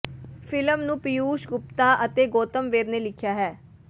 film ਨੂੰ ਪੀਯੂਸ਼ ਗੁਪਤਾ ਅਤੇ ਗੌਤਮ ਵੇਦ ਨੇ ਲਿਖਿਆ ਹੈ